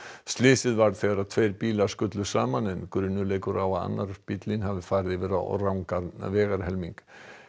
slysið varð þegar tveir bílar skullu saman en grunur leikur á að annar bíllinn hafi farið yfir á rangan vegarhelming